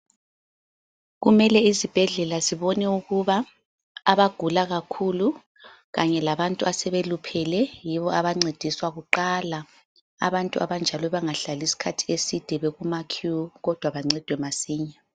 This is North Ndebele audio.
Kumele isibhedlela sibone ukuba abagula kakhulu kanye labantu asebeluphele yibo abancediswa kuqala. Abantu abanjalo bangahlali isikhathi eside bekuma "queue" kodwa bancedwe masinya.